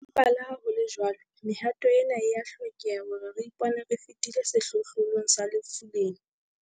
Empa leha ho le jwalo, mehato ena e a hlokeha hore re ipone re fetile sehlohlolong sa lefu lena.